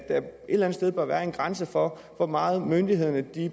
eller andet sted bør være en grænse for hvor meget myndighederne